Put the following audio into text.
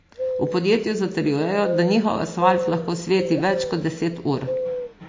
V podjetju zatrjujejo, da njihov asfalt lahko sveti več kot deset ur.